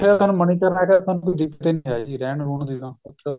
ਮਨੀਕਰਨ ਸਾਨੂੰ ਕੋਈ ਦਿੱਕਤ ਨਹੀਂ ਹੈਗੀ ਰਹਿਣ ਰੁਹਣ ਦੀ ਤਾਂ